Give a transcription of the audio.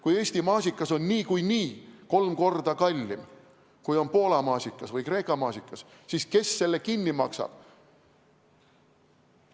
Kui Eesti maasikas on niikuinii kolm korda kallim, kui on Poola või Kreeka maasikas, siis kes selle kinni maksab?